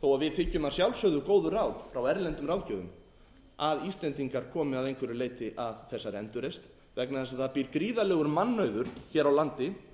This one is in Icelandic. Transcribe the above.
þó að við þiggjum að sjálfsögðu góð ráð frá erlendum ráðgjöfum að íslendingar komi að einhverju leyti að þessari endurreisn vegna þess að það býr gríðarlegur mannauður hér á landi og